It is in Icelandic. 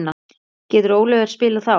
Getur Oliver spilað þá?